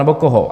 Nebo koho?